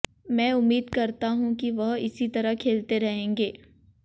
मैं उम्मीद करता हूं कि वह इसी तरह खेलते रहेंगे